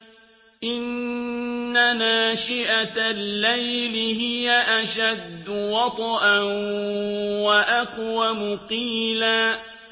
إِنَّ نَاشِئَةَ اللَّيْلِ هِيَ أَشَدُّ وَطْئًا وَأَقْوَمُ قِيلًا